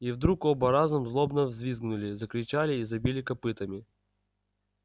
и вдруг оба разом злобно взвизгнули закричали и забили копытами